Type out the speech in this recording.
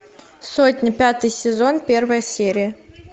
сотня пятый сезон первая серия